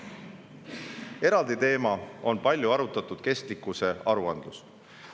Eraldi teema on palju arutatud kestlikkusaruandlus.